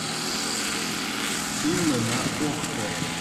фильмы на окко